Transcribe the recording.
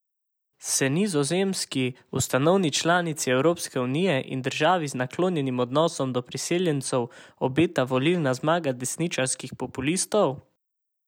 Se Nizozemski, ustanovni članici Evropske unije in državi z naklonjenim odnosom do priseljencev, obeta volilna zmaga desničarskih populistov?